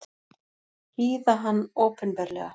Hýða hann opinberlega!